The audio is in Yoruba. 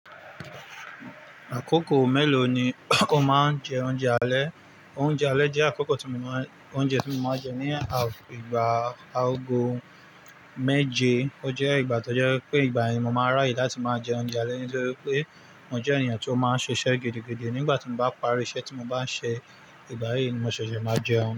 Àkókò mélòó ni o máa ń jẹ oúnjẹ alẹ́? Oúnjẹ alẹ́ jẹ́ àkókò tí mo máa ń jẹ oúnjẹ tí mo máa ń jẹ ní ìgbà agogomeje, o jẹ ìgbà tó jẹ́ wi pé ìgbà yìí ni mo máa ráyè láti máa jẹ oúnjẹ alẹ́ nítorí pé mo jẹ́ ènìyàn tí ó máa ń ṣiṣẹ́ gidi, gidi. Nígbà tí mo bá parí iṣẹ́ tí mo bá ń ṣe, ìgbà yìí ni mo ṣẹ̀ṣẹ̀ máa jẹun.